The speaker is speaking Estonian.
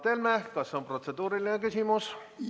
Mart Helme, kas on protseduuriline küsimus?